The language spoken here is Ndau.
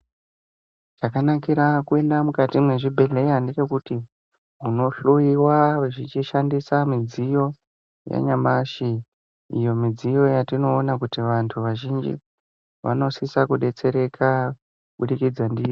Chakanakira kuenda mukati mwezvibhehleya ngechekuti unohloyiwa vachishandisa midziyo yanyamashi iyo midziyo yetinoona kuti vantu vazhinji vanosisa kudetsereka kubudikidza ndiyo.